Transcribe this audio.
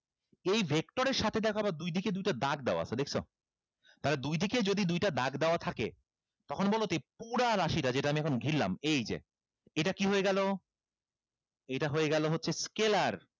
এই vector এর সাথে দেখো আবার দুইদিকে দুইটা দাগ দেওয়া আছে দেখছো তাইলে দুইদিকে যদি দুইটা দাগ দেওয়া থাকে তখন বলোতো এই পুরা রাশিটা যেটা আমি এখন ঘিরলাম এইযে এটা কি হয়ে গেলো এটা হয়ে গেলো হচ্ছে scalar